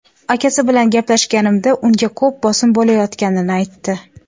Akasi bilan gaplashganimda unga ko‘p bosim bo‘layotganini aytdi.